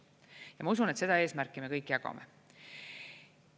Ja ma usun, et seda eesmärki me kõik jagame.